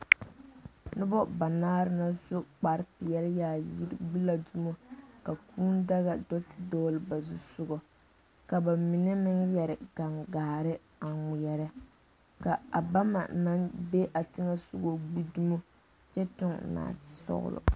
Noba banaare la su kpare peɛle yaayi gbe la dumo a kūū daga do te dogle ba zu soga ka bamine meŋ yeere gangaare a ŋmɛɛre ka a bama naŋ be a teŋa soga gbe dumo kyɛ tuŋ naate sɔglɔ.